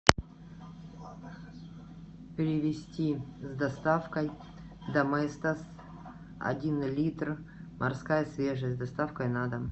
привезти с доставкой доместос один литр морская свежесть с доставкой на дом